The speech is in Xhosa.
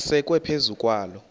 asekwe phezu kwaloo